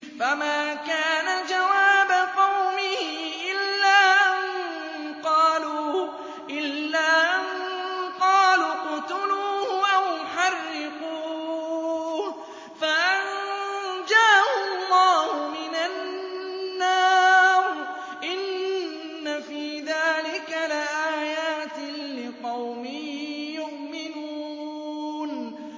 فَمَا كَانَ جَوَابَ قَوْمِهِ إِلَّا أَن قَالُوا اقْتُلُوهُ أَوْ حَرِّقُوهُ فَأَنجَاهُ اللَّهُ مِنَ النَّارِ ۚ إِنَّ فِي ذَٰلِكَ لَآيَاتٍ لِّقَوْمٍ يُؤْمِنُونَ